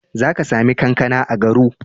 Za ka sami kankana a Garu.